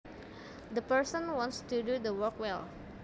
The person wants to do the work well